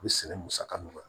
A bɛ sɛnɛ musaka nɔgɔ